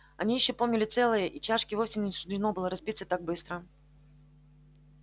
они ещё помнили целое и чашке вовсе не суждено было разбиться так быстро